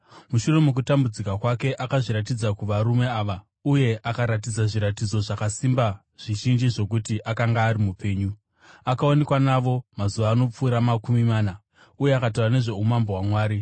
Mushure mokutambudzika kwake, akazviratidza kuvarume ava uye akaratidza zviratidzo zvakasimba zvizhinji zvokuti akanga ari mupenyu. Akaonekwa navo mazuva anopfuura makumi mana uye akataura nezvoumambo hwaMwari.